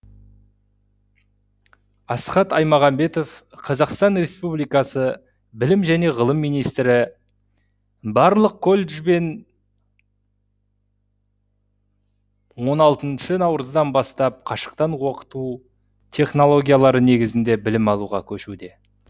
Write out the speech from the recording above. асхат аймағамбетов қазақстан республикасы білім және ғылым министрі барлық коллежд бен он алтыншы наурыздан бастап қашықтан оқыту технологиялары негізінде білім алуға көшуде